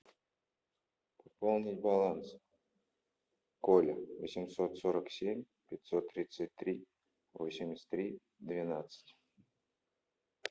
пополнить баланс коля восемьсот сорок семь пятьсот тридцать три восемьдесят три двенадцать